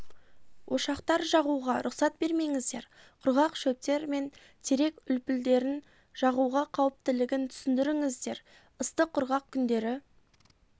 ошақтар жағуға рұқсат бермеңіздер құрғақ шөптер мен терек үлпілдерін жағуға қауіптілігін түсіндіріңіздер ыстық құрғақ күндері